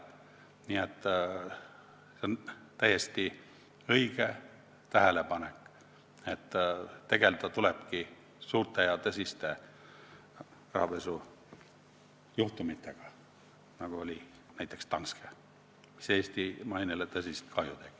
Nii et see on täiesti õige tähelepanek, et tegelda tulebki suurte ja tõsiste rahapesujuhtumitega, nagu oli näiteks Danske juhtum, mis Eesti mainele tõsist kahju tegi.